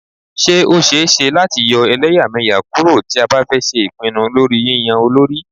Ṣé ó ṣẹ é ṣe láti yọ́ ẹlẹ́yàmẹyà kúrò tí a bá fẹ́ ṣe ìpinnu lórí yínyan olórí.